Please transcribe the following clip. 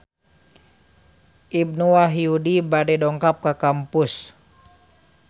Ibnu Wahyudi bade dongkap ka kampus